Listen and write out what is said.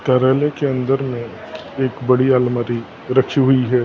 कराने की अंदर में एक बड़ी अलमारी रखी हुई है।